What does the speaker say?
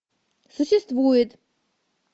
существует